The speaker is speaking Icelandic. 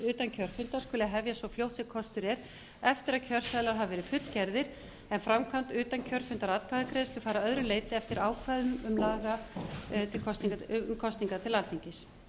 kjörfundar skuli hefjast svo fljótt sem kostur er eftir að kjörseðlar hafa verið fullgerðir en framkvæmd utankjörfundaratkvæðagreiðslu fara að öðru leyti eftir ákvæðum laga um kosningar til alþingis